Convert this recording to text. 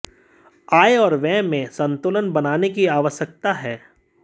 आय और व्यय में संतुलन बनाने की आवश्यकता है